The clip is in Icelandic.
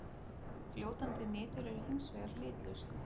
Fljótandi nitur er hins vegar litlaust.